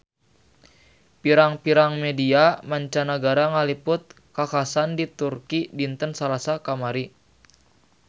Pirang-pirang media mancanagara ngaliput kakhasan di Turki dinten Salasa kamari